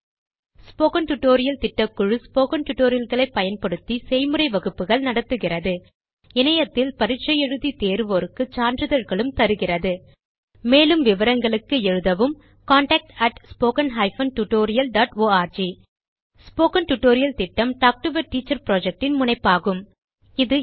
spoken tutorial திட்டக்குழு spoken tutorialகளை பயன்படுத்தி செய்முறை வகுப்புகள் நடத்துகிறது இணையத்தில் பரீட்சை எழுதி தேருவோருக்கு சான்றிதழ்களும் தருகிறது மேற்கொண்டு விவரங்களுக்கு எழுதவும் contactspoken tutorialorg ஸ்போக்கன் டியூட்டோரியல் திட்டம் talk to a teacher project இன் முனைப்பாகும்